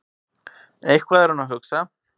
Eitthvað er hún að hugsa.